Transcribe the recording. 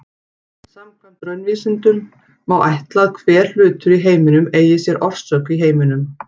Samkvæmt raunvísindunum má ætla að hver hlutur í heiminum eigi sér orsök í heiminum.